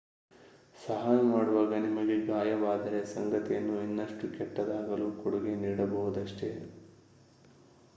ಸಹಾಯ ಮಾಡುವಾಗ ನಿಮಗೆ ಗಾಯವಾದರೆ ಸಂಗತಿಯನ್ನು ಇನ್ನಷ್ಟು ಕೆಟ್ಟದಾಗಲು ಕೊಡುಗೆ ನೀಡಬಹುದಷ್ಟೇ